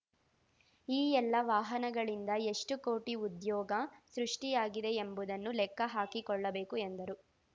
ಈ ಎಲ್ಲ ವಾಹನಗಳಿಂದ ಎಷ್ಟುಕೋಟಿ ಉದ್ಯೋಗ ಸೃಷ್ಟಿಯಾಗಿದೆ ಎಂಬುದನ್ನು ಲೆಕ್ಕ ಹಾಕಿಕೊಳ್ಳಬೇಕು ಎಂದರು